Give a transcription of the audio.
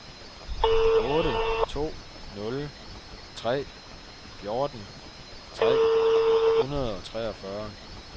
otte to nul tre fjorten tre hundrede og treogfyrre